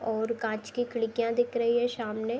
और कांच की खिडकियां दिख रही हैं। शामने --